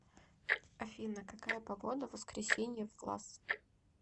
афина какая погода в воскресенье в глаз